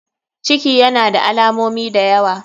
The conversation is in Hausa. Ciki yana da alamomi dayawa.